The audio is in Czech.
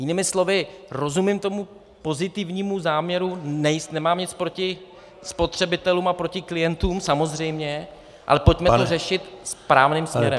Jinými slovy, rozumím tomu pozitivnímu záměru, nemám nic proti spotřebitelům a proti klientům samozřejmě, ale pojďme to řešit správným směrem.